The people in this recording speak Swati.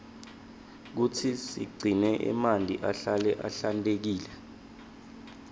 kutsi sigcine emanti ahlale ahlantekile